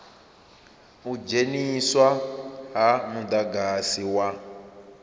u dzheniswa ha mudagasi wa